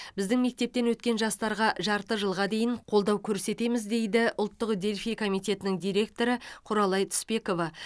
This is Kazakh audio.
біздің мектептен өткен жастарға жарты жылға дейін қолдау көрсетеміз дейді ұлттық дельфий комитетінің директоры құралай түспекова